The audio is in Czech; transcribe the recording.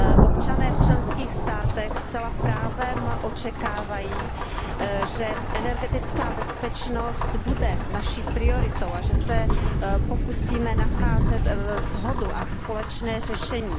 Občané v členských státech zcela právem očekávají, že energetická bezpečnost bude naší prioritou a že se pokusíme nacházet shodu a společné řešení.